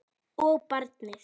Og barnið.